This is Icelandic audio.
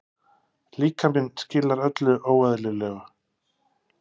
Líkaminn skilar öllu óeðlilegu.